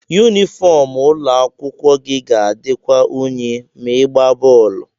yunifọm ụlọ akwụkwọ gị ga-adịkwa unyi ma ị ịgbaa bọọlụ